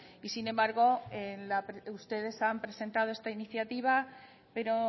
sin embargo ustedes han presentado esta iniciativa pero